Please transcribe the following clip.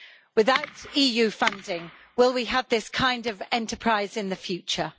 Without EU funding will we have this kind of enterprise in the future?